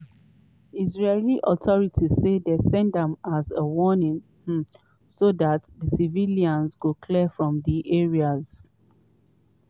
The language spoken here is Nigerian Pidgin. israeli authorities say dem send am as a warning um so dat civilians go clear from di areas.